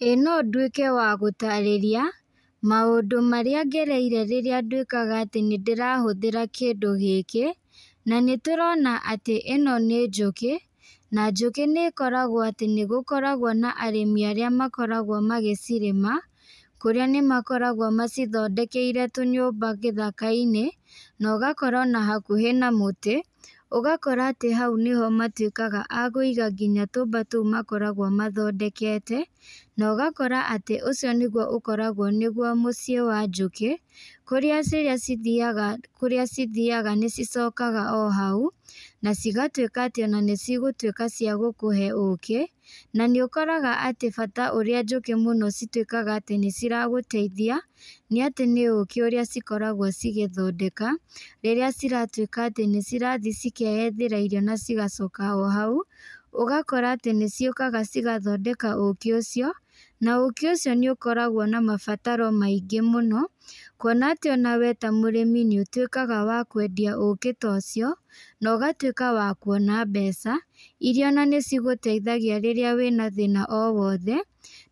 Ĩĩ no ndwĩke wa gũtarĩria, maũndũ marĩa ngereire rĩrĩa nduĩkaga atĩ nĩ ndĩrahũthĩra kĩndũ gĩkĩ, na nĩtũrona atĩ ĩno nĩ njũkĩ, na njũkĩ nĩ ĩkoragwo atĩ nĩ gũkoragwo na arĩmi arĩa makoragwo magĩcirĩma, kũrĩa nĩ makoragwo macithondekeire tũnyũmba gĩthaka-inĩ, na ũgakora ona hakuhĩ na mũtĩ, ũgakora atĩ hau nĩho matuĩkaga akũiga nginya tũmba tũu makoragwo mathondekete, na ũgakora atĩ ũcio nĩguo ũkoragwo nĩguo mũciĩ wa njũkĩ, kũrĩa ciria cithiyaga, kũrĩa cithiaga nĩ cicokaga o hau, na cigatuĩka atĩ ona nĩ cigũtuĩka cia gũkũhe ũkĩ, na nĩ ũkoraga atĩ bata ũrĩa njũkĩ mũno cituĩkaga atĩ nĩ ciragũteithia, nĩ atĩ nĩ ũkĩ ũrĩa cikoragwo cigĩthondeka, rĩrĩa ciratuĩka atĩ nĩ cirathiĩ cikeyethera irio na cigacoka o hau, ũgakora atĩ nĩ ciũkaga cigathondeka ũkĩ ũcio, na ũkĩ ũcio nĩ ũkoragwo na mabataro maingĩ mũno, kuona atĩ onawe ta mũrĩmi nĩ ũtuĩkaga wa kwendia ũkĩ ta ũcio, na ũgatuĩka wa kuona mbeca, iria ona nĩ cigũteithagia rĩrĩa wina thĩna o wothe,